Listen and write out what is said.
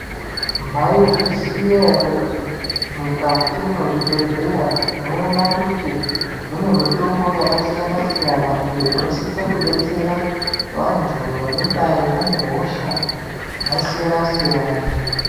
Maizviziya here kuti mukati mezvibhedhlera tinowona kuti munemitombo yakasiyana siyana iyo inosise kudetsera vantu vanodayi vane hosha dzakasiyana siyana.